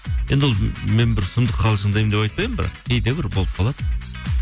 енді ол мен бір сұмдық қалжыңдаймын деп айтпаймын бірақ кейде бір болып қалады